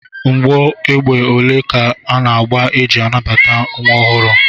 Mgbọ égbè ole ka ana-agba iji nabata nwa ọhụrụ?